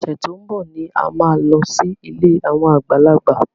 Ọ̀sẹ̀ tí ó ń bọ̀ ni a máa lọ sí ilé àwọn àgbàlagbà.